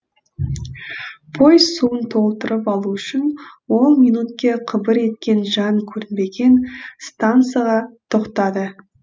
пойыз суын толтырып алу үшін он минутке қыбыр еткен жан көрінбеген стансаға тоқтады